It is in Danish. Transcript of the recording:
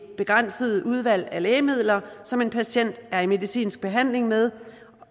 begrænset udvalg af lægemidler som en patient er i medicinsk behandling med